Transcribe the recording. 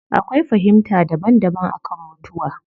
Akwai fahimta daban daban akan mutuwa